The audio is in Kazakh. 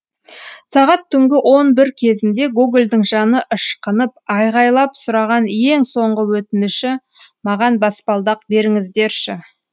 сағат түнгі он бір кезінде гогольдың жаны ышқынып айғайлап сұраған ең соңғы өтініші маған баспалдақ беріңіздерші